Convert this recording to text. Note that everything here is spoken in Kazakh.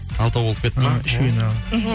алтау болып кетті ма